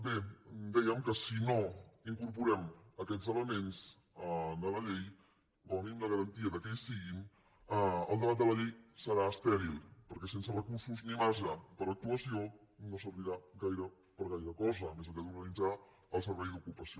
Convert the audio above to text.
bé dèiem que si no incorporem aquests elements a la llei com a mínim la garantia que hi siguin el debat de la llei serà estèril perquè sense recursos ni marge per a l’actuació no servirà gaire per a gaire cosa més enllà d’organitzar el servei d’ocupació